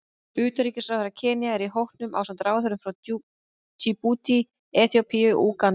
Utanríkisráðherra Kenía er í hópnum ásamt ráðherrum frá Djíbútí, Eþíópíu og Úganda.